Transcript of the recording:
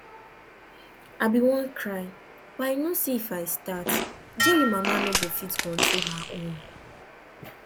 i bin wan cry but i know say if i start jerry mama no go fit control her own